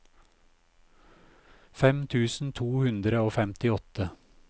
fem tusen to hundre og femtiåtte